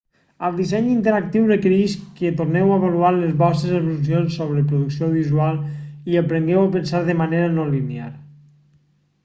el disseny interactiu requereix que torneu a avaluar les vostres assumpcions sobre producció audiovisual i aprengueu a pensar de manera no linear